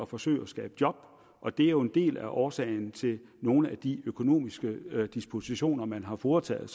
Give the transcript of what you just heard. forsøge at skabe job og det er en del af årsagen til nogle af de økonomiske dispositioner man har foretaget